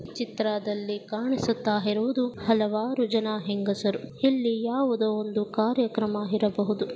ಈ ಚಿತ್ರದಲ್ಲಿ ಕಾಣಿಸುತಾ ಇರುವುಧು ಹಲವಾರು ಜನ ಹೆಂಗಸರು ಇಲ್ಲಿ ಯಾವುದೋ ಒಂದು ಕಾರ್ಯಕ್ರಮ ಇರಬಹುಧು .